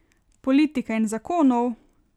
Politike in zakonov.